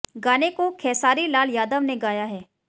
गाने को खेसारी लाल यादव ने गाया है